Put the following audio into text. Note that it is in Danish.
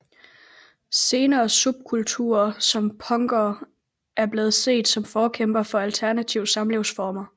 Senere subkulturer som punkere er blevet set som forkæmpere for alternative samlivsformer